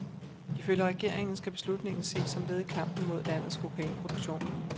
Ifølge regeringen skal beslutningen ses som led i kampen mod landets kokainproduktion.